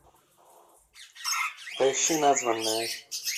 поищи названная